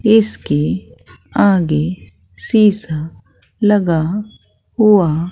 इसके आगे शीशा लगा हुआ--